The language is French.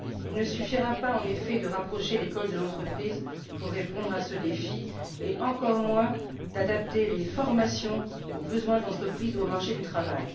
Il ne suffira pas, en effet, de rapprocher l'école de l'entreprise pour répondre à ce défi, et encore moins d'adapter les formations aux besoins de l'entreprise ou au marché du travail.